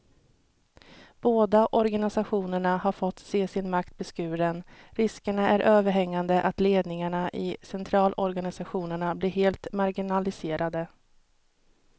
Båda organisationerna har fått se sin makt beskuren, risken är överhängande att ledningarna i centralorganisationerna blir helt marginaliserade.